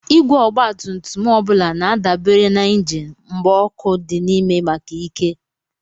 Igwe ọgbatumtum ọ bụla na-adabere na injin mgba ọkụ dị n'ime maka ike.